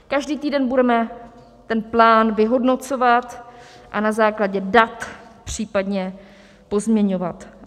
Každý týden budeme ten plán vyhodnocovat a na základě dat případně pozměňovat.